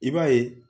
I b'a ye